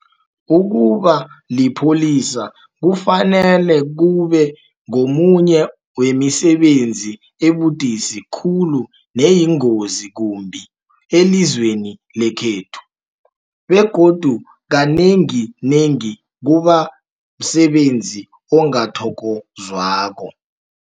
Ukuba lipholisa kufanele kube ngomunye wemisebenzi ebudisi khulu neyingozi kumbi elizweni lekhethu, begodu kanenginengi kubamsebenzi ongathokozwako.